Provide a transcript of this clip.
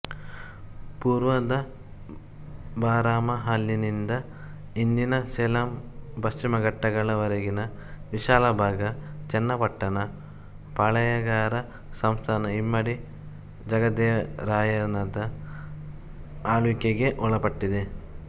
ಪೂರ್ವದ ಬಾರಾಮಹಲಿನಿಂದಇಂದಿನ ಸೇಲಂಪಶ್ಚಿಮಘಟ್ಟಗಳವರೆಗಿನ ವಿಶಾಲ ಭಾಗ ಚನ್ನಪಟ್ಟಣ ಪಾಳೆಯಗಾರ ಸಂಸ್ಥಾನಇಮ್ಮಡಿ ಜಗದೇವರಾಯನದ ಆಳ್ವಿಕೆಗೆ ಒಳಪಟ್ಟಿತ್ತು